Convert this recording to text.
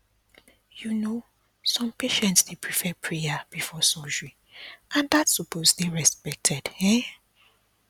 you know some patients dey prefer prayer before surgery and that supose dey respected um